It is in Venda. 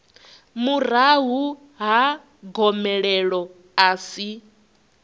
murahu ha gomelelo a si